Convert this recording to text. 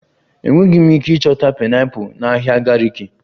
Enweghị m ike ịchọta pineapples na ahịa gariki